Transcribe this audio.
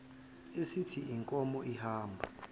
esithi inkomo ihamba